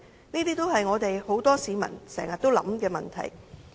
這些也是很多市民經常思考的問題。